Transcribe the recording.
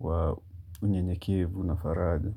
wa unyenye kivu na faraja.